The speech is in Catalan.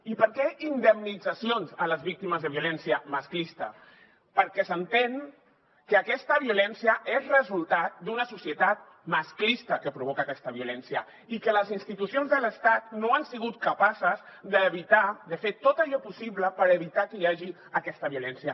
i per què indemnitzacions a les víctimes de violència masclista perquè s’entén que aquesta violència és resultat d’una societat masclista que provoca aquesta violència i que les institucions de l’estat no han sigut capaces d’evitar de fer tot allò possible per evitar que hi hagi aquesta violència